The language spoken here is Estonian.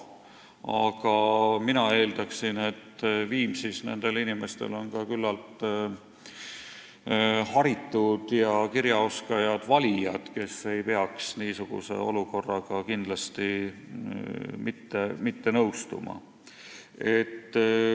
Aga mina eeldaksin, et Viimsis on küllalt haritud ja kirjaoskajad valijad, kes ei peaks niisuguse olukorraga kindlasti mitte nõustuma.